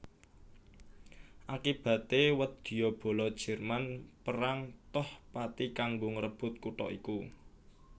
Akibaté wadyabala Jerman perang toh pati kanggo ngrebut kutha iku